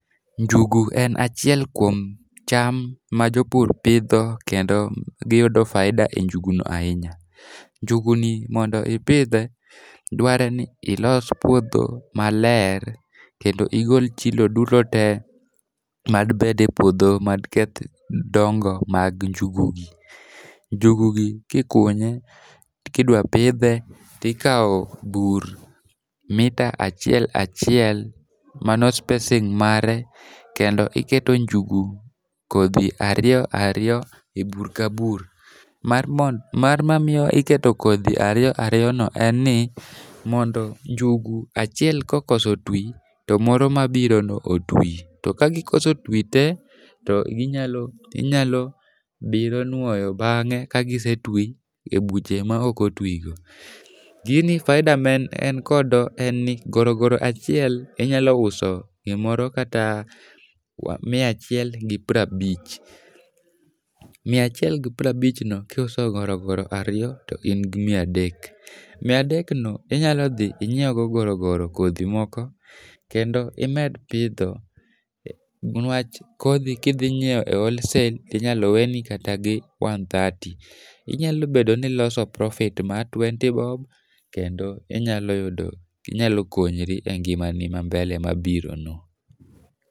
Njugu en achiel kuom cham ma jopur pidho, kendo giyudo faida e njugu no ahinya. Njugu ni mondo ipidhe, dwarore ni ilos puodho maler, kendo igol chilo duto te madibede e puodho madiketh dongo mag njugu gi. Njugu gi kikunye, kidwapidhe, ikawo bur mita achiel achiel, mano spacing mare, kendo iketo njugu kodhi ariyo ariyo e bur ka bur. Mar mar mamiyo iketo kodhi ariyo ariyo no en ni mondo njugu achiel kokoso ti, to moro ma biro no oti. To ka gikoso ti te to ginyalo, inyalo biro nwoyo bangé ka gise ti e buche ma ok o ti go. Gini faida ma en en kodo en ni gorogore achiel inyalo uso gimoro kata mia achiel gi piero abich. Mia achiel gi piero abich no kiuso gorogoro ariyo to in gi mia adek. Mia adek no inyalo dhi inyiew go gorogoro kodhi moko, kendo imed pidho niwach kodhi kidhinyiewo e wholesale inyalo weni kata gi one thirty. Inyalo bedo ni iloso profit mar twenty bob kendo inyalo yudo, inyalo konyori e ngimani ma mbele ma biro no.